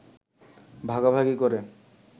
ভাগাভাগি করে